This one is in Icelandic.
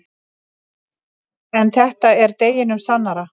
En þetta er deginum sannara.